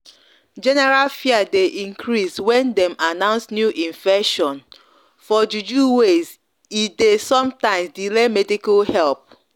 general fear dey increase when dem announce new infection for juju ways e dey some times delay medical help.